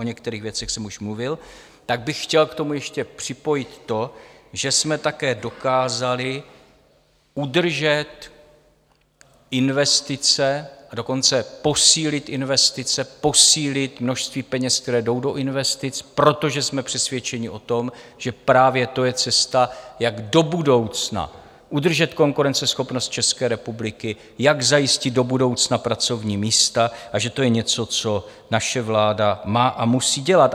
O některých věcech jsem už mluvil, tak bych chtěl k tomu ještě připojit to, že jsme také dokázali udržet investice, a dokonce posílit investice, posílit množství peněz, které jdou do investic, protože jsme přesvědčeni o tom, že právě to je cesta, jak do budoucna udržet konkurenceschopnost České republiky, jak zajistit do budoucna pracovní místa, a že to je něco, co naše vláda má a musí dělat.